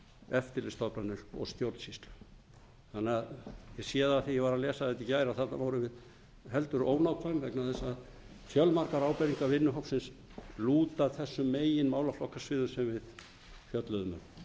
eftirlitsstofnanir og stjórnsýslu ég sé það af því að ég var að lesa þetta í gær að þarna vorum við heldur ónákvæm vegna þess að fjölmargar ábendingar vinnuhópsins lúta að þessum meginmálaflokkasviðum sem við fjölluðum um